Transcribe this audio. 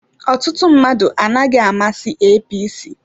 Ọtụtụ mmadụ anaghị amasị APC.